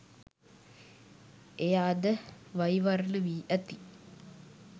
එය අද වෛවර්ණ වී ඇති